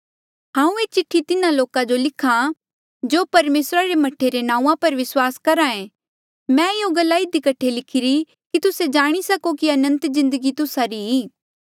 हांऊँ ये चिठ्ठी तिन्हा लोका जो लिख्हा आ जो परमेसरा रे मह्ठा रे नांऊँआं पर विस्वास करहा ऐें मै यूँ गल्ला इधी कठे लिखीरी कि तुस्से जाणी सको कि अनंत जिन्दगी तुस्सा री ई